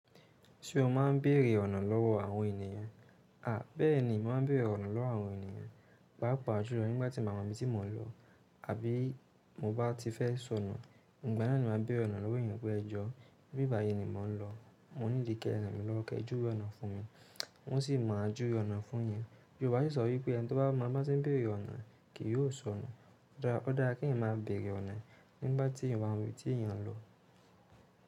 Ṣé o máa ń bèèrè ọ̀nà lọ́wọ́ àwọn ènìyàn? À, bẹ́ẹ̀ni, màá ń bèrè ọ̀nà lọ́wọ́ àwọn ènìyàn. Pàápàá júlọ nígbà tí nbá mọ ibi tí mò ń lọ àbí mo bá ti fẹ́ sọnù, ìgbà náà ni màá béèrè ọ̀nà lówọ́ èèyàn pé ẹ jọ́. Bí i báyìí ni mò ń lọ, mò níìdi kẹ́ ràn mi lọ́wọ́ kẹ júwe ọ̀nà fún mi, wọ́n sì máa júwe ọ̀nà fún yín. Yòrùbá sì sọ wípé ẹni tí ó bá mọ bá se ń bèrè ọ̀nà kì yóò sọnù. Ó dára kí èèyàn máa bèrè ọ̀nà nígbà tí èèyàn ò bá mọbi tí èèyàn nlọ.